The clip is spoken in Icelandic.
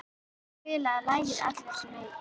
Elva, spilaðu lagið „Allir sem einn“.